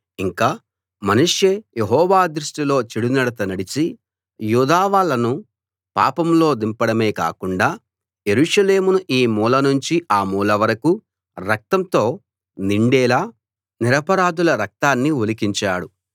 ఇంకా మనష్షే యెహోవా దృష్టిలో చెడునడత నడిచి యూదావాళ్ళను పాపంలో దింపడమే కాకుండా యెరూషలేమును ఈ మూల నుంచి ఆ మూల వరకూ రక్తంతో నిండేలా నిరపరాధుల రక్తాన్ని ఒలికించాడు